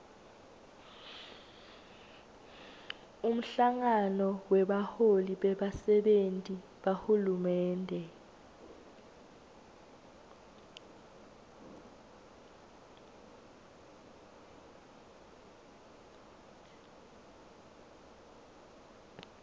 umhlangano webaholi bebasenti bahulumende